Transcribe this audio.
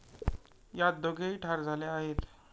यात दोघेही ठार झाले आहेत.